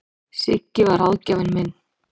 Siggi var ráðgjafinn minn.